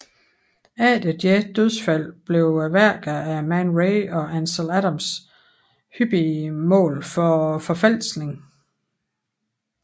Efter deres dødsfald blev værker af Man Ray og Ansel Adams hyppige mål for forfalskning